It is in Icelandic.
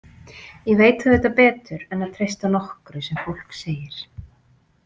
Ég veit auðvitað betur en að treysta nokkru sem fólk segir.